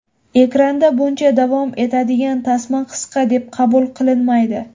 Ekranda buncha davom etadigan tasma qisqa deb qabul qilinmaydi.